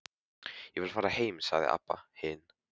Ég vil fara heim, sagði Abba hin.